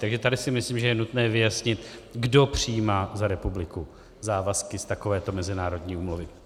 Takže tady si myslím, že je nutné vyjasnit, kdo přijímá za republiku závazky z takovéto mezinárodní úmluvy.